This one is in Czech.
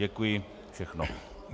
Děkuji, všechno.